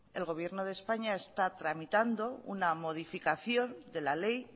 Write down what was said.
el gobierno de españa está tramitando una modificación de la ley